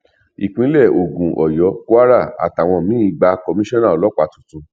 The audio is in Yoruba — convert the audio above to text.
ìpínlẹ ogun ọyọ kwara àtàwọn míì gba kọmísọnà ọlọpàá tuntun